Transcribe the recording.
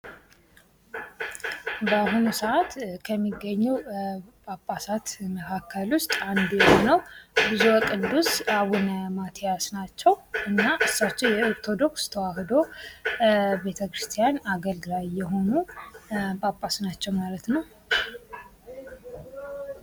ባሁኑ ሰአት ከሚገኙ ጳጳሳት አንዱ ብጹ ወቅዱስ አቡነ ማቲያስ ናቸው እና እሳችሀዉ የኦርቶዶክስ ተውሂዶ በተኪረስትያን አገልጋይ የሆኑ ጳጳስ ናቸዎ ማለት ነው